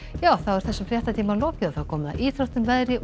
þessum fréttatíma er lokið og komið að íþróttum veðri og